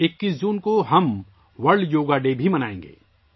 ہم 21 جون کو 'ورلڈ یوگا ڈے' بھی منائیں گے